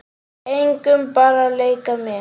Engum, bara að leika mér